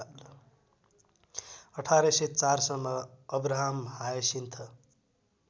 १८०४ सम्म अब्राहमहायसिन्थ